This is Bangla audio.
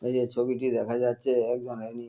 এইযে ছবিটি দেখা যাচ্ছে একজন রোগী--